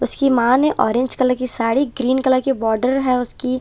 उसकी मां ने ऑरेंज कलर की साड़ी ग्रीन कलर की बॉर्डर है उसकी।